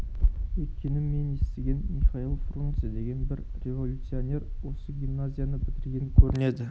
өйткені мен естіген михаил фрунзе деген бір революционер осы гимназияны бітірген көрінеді